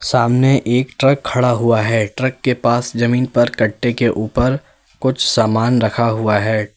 सामने एक ट्रक खड़ा हुआ है ट्रक के पास जमीन पर कट्टे के ऊपर कुछ सामान रखा हुआ है।